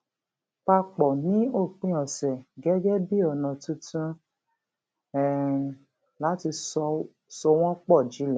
pa pọ ní òpin ọsẹ gẹgẹ bí ọnà tuntun um láti so wọn pọ jinlẹ